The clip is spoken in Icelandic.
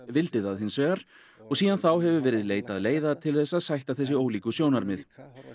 vildi það hins vegar og síðan þá hefur verið leitað leiða til þess að sætta þessi ólíku sjónarmið